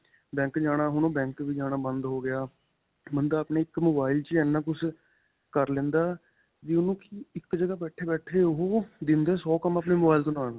Bank ਜਾਣਾ ਹੁਣ ਓਹ ਬੈਂਕ ਵੀ ਜਾਣਾ ਬੰਦ ਹੋ ਗਿਆ. ਬੰਦਾ ਆਪਣੇ mobile ਵਿੱਚ ਹੀ ਇੰਨਾ ਕੁੱਝ ਕਰ ਲੈਂਦਾ ਵੀ ਓਹਨੂੰ ਇੱਕ ਜਗ੍ਹਾ ਬੈਠੇ-ਬੈਠੇ ਓਹ ਦਿਨ ਦੇ ਸੌ ਕੰਮ ਆਪਣੇ mobile ਤੋਂ ਕਰ ਲੈਂਦਾ.